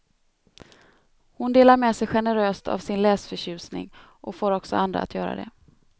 Hon delar med sig generöst av sin läsförtjusning och får också andra att göra det.